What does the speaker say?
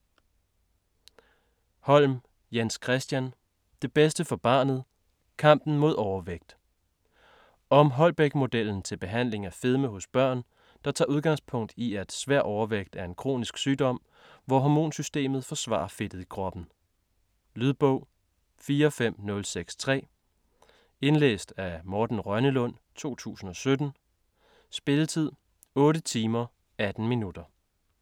Holm, Jens-Christian: Det bedste for barnet: kampen mod overvægt Om Holbæk-modellen til behandling af fedme hos børn, der tager udgangspunkt i at svær overvægt er en kronisk sygdom hvor hormonsystemet forsvarer fedtet i kroppen. Lydbog 45063 Indlæst af Morten Rønnelund, 2017. Spilletid: 8 timer, 18 minutter.